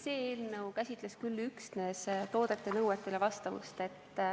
See eelnõu käsitleb küll üksnes toodete nõuetele vastavust.